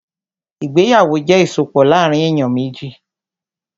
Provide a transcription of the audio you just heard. Ìgbéyàwó jẹ́ ìsopọ̀ láàrín èyàn méjì.